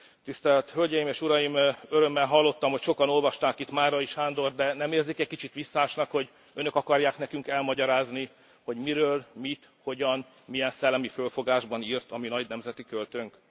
Tisztelt Hölgyeim és Uraim, örömmel hallottam, hogy sokan olvasták itt Márai Sándort, de nem érzik egy kicsit visszásnak, hogy Önök akarják nekünk elmagyarázni, hogy miről mit, hogyan, milyen szellemi felfogásban írt a mi nagy nemzeti költőnk?